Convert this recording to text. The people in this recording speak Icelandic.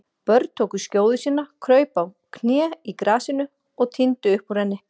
Björn tók skjóðu sína, kraup á kné í grasinu og tíndi upp úr henni.